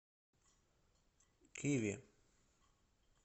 киви